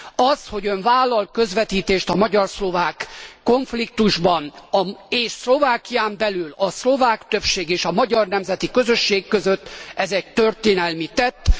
Az, hogy Ön vállal közvetítést a magyar szlovák konfliktusban és Szlovákián belül a szlovák többség és a magyar nemzeti közösség között, ez egy történelmi tett.